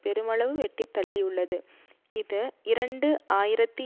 பெருமளவு வெட்டித்தள்ளியுள்ளது இது இரண்டு ஆயிரத்தி